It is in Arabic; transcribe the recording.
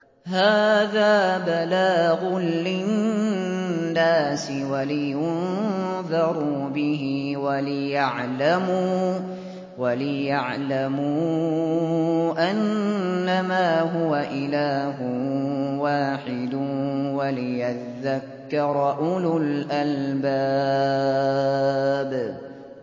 هَٰذَا بَلَاغٌ لِّلنَّاسِ وَلِيُنذَرُوا بِهِ وَلِيَعْلَمُوا أَنَّمَا هُوَ إِلَٰهٌ وَاحِدٌ وَلِيَذَّكَّرَ أُولُو الْأَلْبَابِ